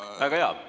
Väga hea!